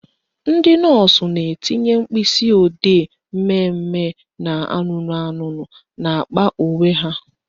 Ndị nọọsụ na-etinye mkpịsịodee mmemme na anụnụ anụnụ n'akpa uwe ha